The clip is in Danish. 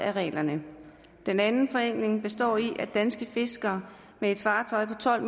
af reglerne den anden forenkling består i at danske fiskere med et fartøj på tolv